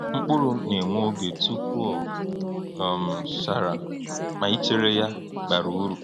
Mkpụrụ na-ewe oge tupu o um chara, ma ichere ya bara uru.